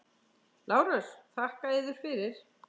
LÁRUS: Þakka yður fyrir.